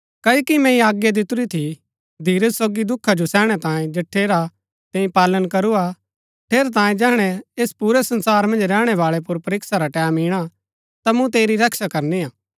क्ओकि मैंई आज्ञा दितुरी थी धीरज सोगी दुखा जो सैहणै तांये जठेरा तैंई पालन करू हा ठेरैतांये जैहणै ऐस पुरै संसार मन्ज रैहणै बाळै पुर परीक्षा रा टैमं इणा ता मूँ तेरी रक्षा करनी हा